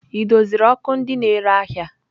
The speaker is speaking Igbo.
Ị doziri ọkụ ndị na-ere ahịa?